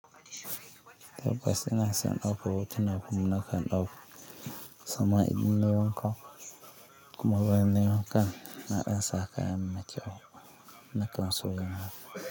Tabbas ina son dauko hotunan kuma nakan dauko. Sama'in ne wancan kuma ruwan ne wancan naɗin saƙa mai maciyo na kansu yana.